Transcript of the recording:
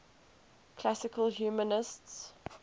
classical humanists